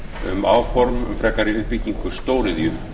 um áform um frekari uppbyggingu stóriðju